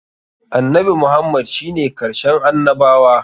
Annabi Muhammad shi ne karshen annabawa.